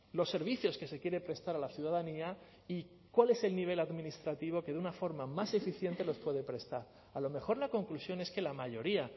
los servicios que se quiere prestar a la ciudadanía y cuál es el nivel administrativo que de una forma más eficiente los puede prestar a lo mejor la conclusión es que la mayoría